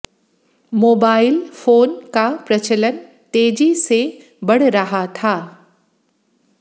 mobile phone का प्रचलन तेजी से बढ़ रहा था